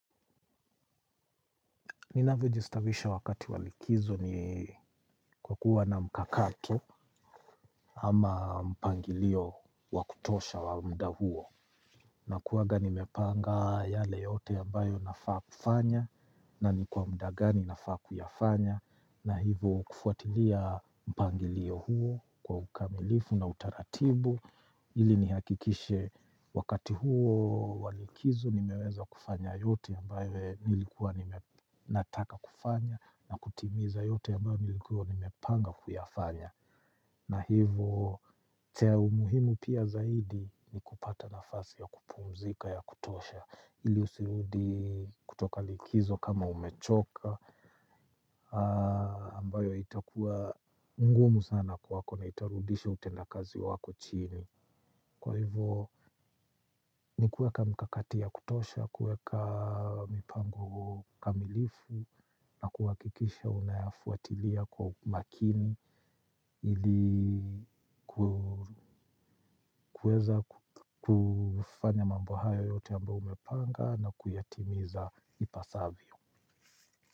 Ninavyojistawisha wakati wa likizo ni kwa kuwa na mkakati ama mpangilio wa kutosha wa muda huo nakuanga nimepanga yale yote ambayo nafaa kufanya na ni kwa muda gani nafaa kuyafanya na hivo kufuatilia mpangilio huo kwa ukamilifu na utaratibu ili nihakikishe wakati huo wa likizo nimeweza kufanya yote ambayo nilikuwa nime nataka kufanya na kutimiza yote ambayo nilikua nimepanga kuyafanya. Na hivo, chai au muhimu pia zaidi ni kupata nafasi ya kupumzika ya kutosha. Hili usirudi kutoka likizo kama umechoka, ambayo itakua ngumu sana kwako na itarudisha utendakazi wako chini. Kwa hivyo, ni kuweka mkakati ya kutosha, kuweka mpango kamilifu, na kuhakikisha unayafuatilia kwa umakini hili kuweza kufanya mambo haya yote ambayo umepanga na kuyatimiza ipasavyo.